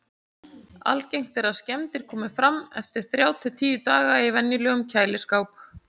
Algengt er að skemmdir komi fram eftir þrjá til tíu daga í venjulegum kæliskáp.